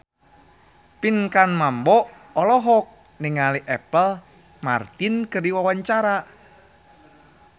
Pinkan Mambo olohok ningali Apple Martin keur diwawancara